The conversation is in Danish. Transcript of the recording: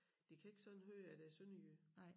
De kan ikke sådan høre at jeg er sønderjyde